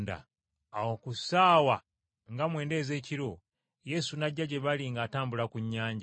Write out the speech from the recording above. Awo ku ssaawa nga mwenda ez’ekiro, Yesu n’ajja gye bali ng’atambula ku nnyanja.